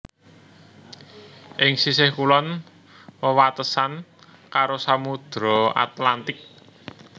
Ing sisih kulon wewatesan karo Samudra Atlantik